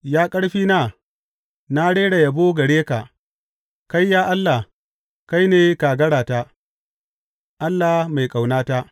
Ya ƙarfina, na rera yabo gare ka; kai, ya Allah, kai ne kagarata, Allah mai ƙaunata.